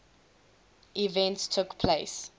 events took place